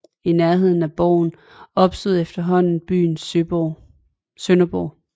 I nærheden af borgen opstod efterhånden byen Sønderborg